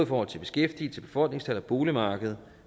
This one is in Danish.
forhold til beskæftigelse befolkningstal og boligmarkedet